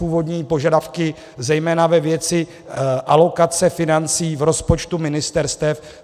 Původní požadavky zejména ve věci alokace financí v rozpočtu ministerstev.